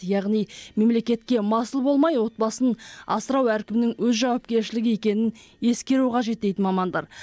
яғни мемлекетке масыл болмай отбасын асырау әркімнің өз жауапкершілігі екенін ескеру қажет дейді мамандар